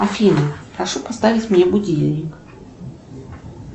афина прошу поставить мне будильник